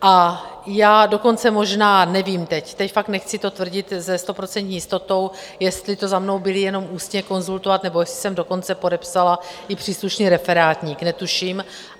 A já dokonce možná - nevím teď, teď fakt nechci to tvrdit se stoprocentní jistotou - jestli to za mnou byli jenom ústně konzultovat, nebo jestli jsem dokonce podepsala i příslušný referátník, netuším.